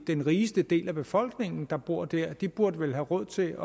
den rigeste del af befolkningen der bor der de burde vel have råd til